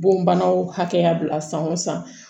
Bonbanaw hakɛya bila san o san